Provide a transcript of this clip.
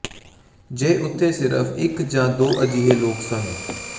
ਜੇ ਉੱਥੇ ਸਿਰਫ ਇੱਕ ਜਾਂ ਦੋ ਅਜਿਹੇ ਲੋਕ ਸਨ